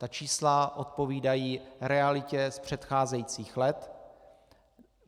Ta čísla odpovídají realitě z předcházejících let.